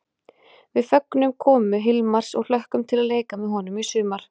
Við fögnum komu Hilmars og hlökkum til að leika með honum í sumar!